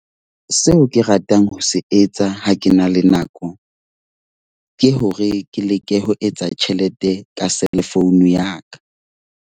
Seo ke ratang ho se etsa ha ke na le nako, ke hore ke leke ho etsa tjhelete ka cellphone ya ka.